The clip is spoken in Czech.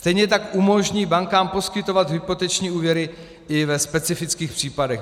Stejně tak umožní bankám poskytovat hypoteční úvěry i ve specifických případech.